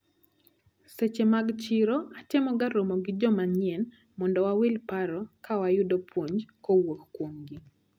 Seche mag chiro, atemoga romo gi jomanyien mondo wawil paro ka ayudo puonj kowuok kuomgi.